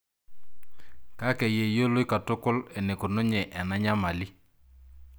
Kake yeyioloi katukul enekununye ena nyamali.